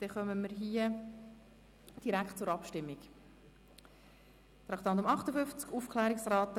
Dann kommen wir direkt zur Abstimmung über das Postulat zu Traktandum 58: